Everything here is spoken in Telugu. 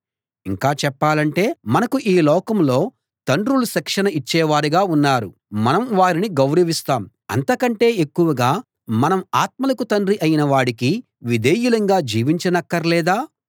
ఇంకా చెప్పాలంటే మనకు ఈ లోకంలో తండ్రులు శిక్షణ ఇచ్చేవారుగా ఉన్నారు మనం వారిని గౌరవిస్తాం అంతకంటే ఎక్కువగా మనం ఆత్మలకు తండ్రి అయిన వాడికి విధేయులంగా జీవించనక్కర్లేదా